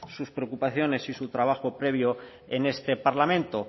sus preocupaciones y su trabajo previo en este parlamento